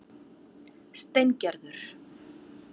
Steingerður